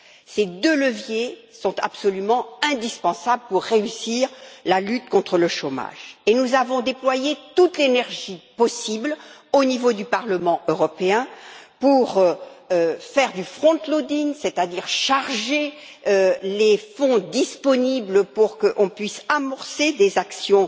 Ces deux leviers sont absolument indispensables pour réussir la lutte contre le chômage et nous avons déployé toute l'énergie possible, au niveau du Parlement européen, pour faire du frontloading c'est à dire charger les fonds disponibles pour qu'on puisse amorcer des actions